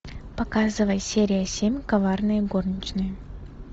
показывай серия семь коварные горничные